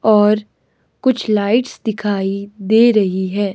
और कुछ लाइट्स दिखाई दे रही है।